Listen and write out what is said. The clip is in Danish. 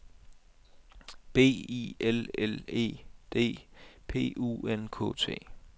B I L L E D P U N K T